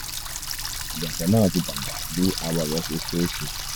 iyatọ naa ti dagba bi awọ rẹ ṣe ṣe ṣe